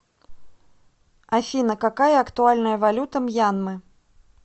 афина какая актуальная валюта мьянмы